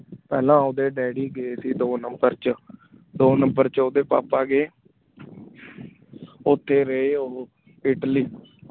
ਪਹਲਾ ਓਦੇ daydi ਗਾਏ ਸੇ ਦੋ number ਚ ਦੋ number ਚ ਓਦੇ ਪਾਪਾ ਗਾਏ ਓਤੇ ਰਹੀ ਓਹੋ ਟੀ ਇਟਲੀ